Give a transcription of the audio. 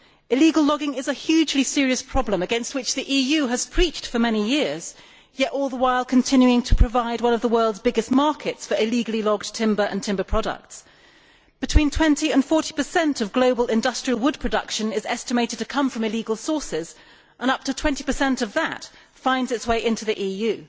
Illegal logging is a hugely serious problem, against which the EU has preached for many years, yet all the while continuing to provide one of the world's biggest markets for illegally logged timber and timber products. Between 20 and 40 of global industrial wood production is estimated to come from illegal sources, and up to 20 of that finds its way into the EU.